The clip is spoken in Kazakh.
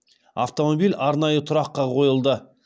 автомобиль арнайы тұраққа қойылды